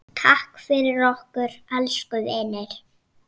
Takk fyrir okkur, elsku vinur.